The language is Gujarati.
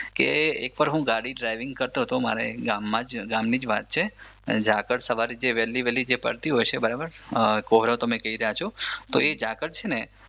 કે એકવાર હું ગાડી ડ્રાઇવિંગ કરતો હતો મારે ગામમાં જ જે ગામની જ વાત છે ઝાકળ છે ને જે સવારે વેહલી વેહલી જે પડતી હોય છે બરાબર કોહરો તમે કહી રહ્યા છો તો એ ઝાકળ છે ને